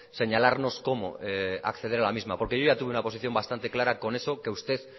señalarnos cómo acceder a la misma porque yo ya tuve una posición bastante clara con eso que usted